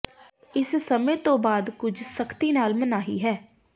ਇਸ ਸਮੇਂ ਤੋਂ ਬਾਅਦ ਕੁਝ ਸਖ਼ਤੀ ਨਾਲ ਮਨਾਹੀ ਹੈ